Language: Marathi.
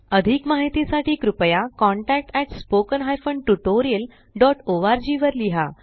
अधिक माहिती साठी कृपया contactspoken tutorialorg वर लिहा